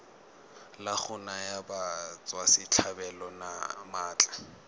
la go naya batswasetlhabelo maatla